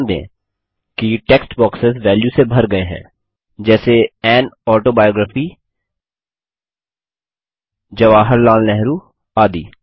ध्यान दें कि टेक्स्ट बॉक्सेस वेल्यू से भर गये हैं जैसे एएन ऑटोबायोग्राफी जवाहरलाल नेहरू आदि